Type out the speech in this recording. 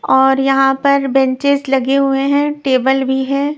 और यहां पर बेंचेस लगे हुए हैं टेबल भी है.